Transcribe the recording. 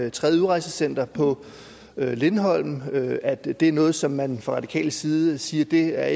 et tredje udrejsecenter på lindholm at det det er noget som man fra radikales side siger ikke er